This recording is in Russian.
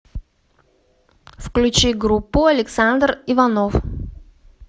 включи группу александр иванов